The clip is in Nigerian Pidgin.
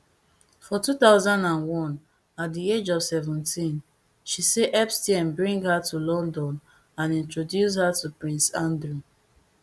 for two thousand and one at di age of seventeen she say epstein bring her to london and introduce her to prince andrew